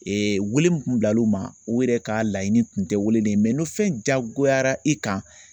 Ee wele min kun bilal'o ma o yɛrɛ ka laɲini tun tɛ wele ni fɛn jagoyara i kan